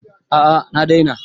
A'a na daina